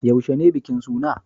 Yaushe ne bikin suna?